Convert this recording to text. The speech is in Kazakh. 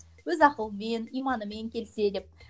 өз ақылымен иманымен келсе деп